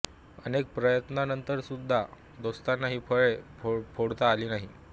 अनेक प्रयत्नांनंतरसुद्धा दोस्तांना ही फळी फोडता आली नाही